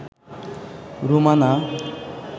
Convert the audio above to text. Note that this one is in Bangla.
রুমানা